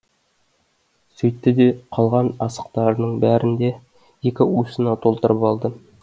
сөйтті де қалған асықтарының бәрін де екі уысына толтырып алды